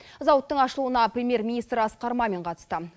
зауыттың ашылуына премьер министр асқар мамин қатысты